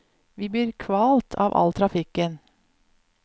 Vi blir kvalt av all trafikken.